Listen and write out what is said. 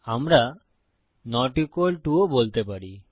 আমরা not equal to অসমান ও বলতে পারি